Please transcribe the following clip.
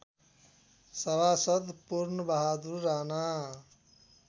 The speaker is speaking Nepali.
सभासद् पूर्णबहादुर राना